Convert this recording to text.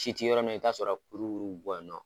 Si ti yɔrɔ min na i bɛ t'a sɔrɔ kurukuru bi bɔ yen nɔ